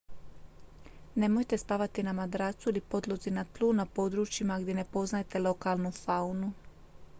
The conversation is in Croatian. nemojte spavati na madracu ili podlozi na tlu na područjima gdje ne poznajete lokalnu faunu